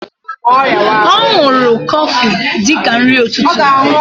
O nuru Kofi dika nri ututu.